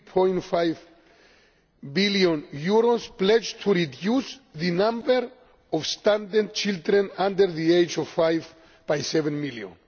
3.5 billion it has pledged to reduce the number of stunted children under the age of five by seven million.